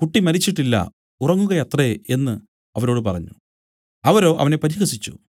കുട്ടി മരിച്ചിട്ടില്ല ഉറങ്ങുകയത്രേ എന്നു അവരോട് പറഞ്ഞു അവരോ അവനെ പരിഹസിച്ചു